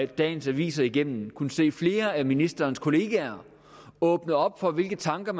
dagens aviser igennem kunnet se flere af ministerens kollegaer åbne op for hvilke tanker